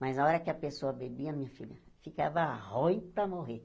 Mas na hora que a pessoa bebia, minha filha, ficava ruim para morrer.